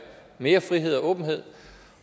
mere frihed og åbenhed